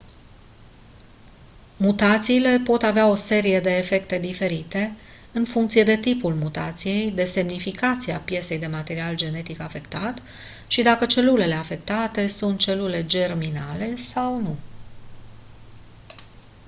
mutațiile pot avea o serie de efecte diferite în funcție de tipul mutației de semnificația piesei de material genetic afectat și dacă celulele afectate sunt celule germinale sau nu